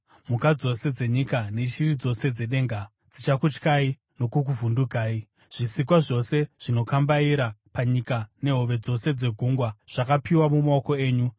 Mhuka dzose dzenyika neshiri dzose dzedenga dzichakutyai uye dzichakuvhundukai; zvisikwa zvose zvinokambaira panyika, nehove dzose dzegungwa, zvakapiwa mumaoko enyu.